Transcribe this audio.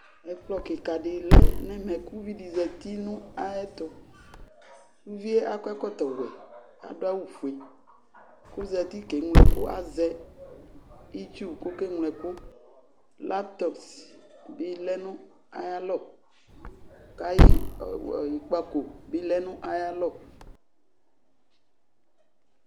Ɛkplɔ kika di lɛ n'ɛmɛ k'uvi di zati n'ayɛtʋ Uvi yɛ akɔ ɛkɔtɔ wɛ, adʋ awʋ fue, k'ozati k'eŋlo ɛkʋ azɛ itsu k'okeŋlo ɛkʋ Laptops bi lɛ nʋ aya lɔ, k'ayi e w ikpǝko bi lɛ nʋ aya lɔ